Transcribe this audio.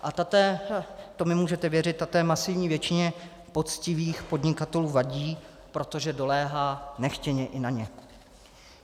A ta té, to mi můžete věřit, ta té masivní většině poctivých podnikatelů vadí, protože doléhá nechtěně i na ně.